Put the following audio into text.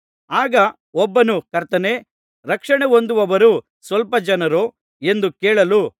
ಆಗ ಒಬ್ಬನು ಕರ್ತನೇ ರಕ್ಷಣೆ ಹೊಂದುವವರು ಸ್ವಲ್ಪ ಜನರೋ ಎಂದು ಕೇಳಲು